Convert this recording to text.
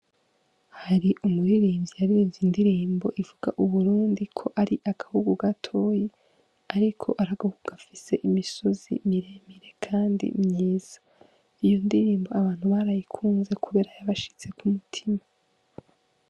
Hari umuririmvye yaririmvye indirimbo ivuga ko u Burundi ari agahugu gatoyi ariko gafise imisozi mire mire kandi myiza iyi ndirimbo abantu barayikunze kubera yabashitse ku mutima.